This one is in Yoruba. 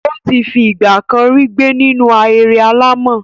Ó ti fi ìgbà kan rí gbé nínú ahéré alàmọ̀.